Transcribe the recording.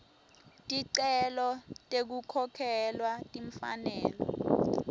ticelo tekukhokhelwa timfanelo